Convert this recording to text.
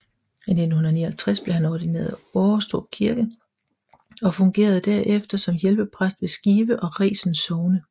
I 1959 blev han ordineret i Årestrup Kirke og fungerede derefter som hjælpepræst ved Skive og Resen Sogne